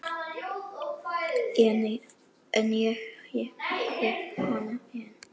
En ég hef hana enn.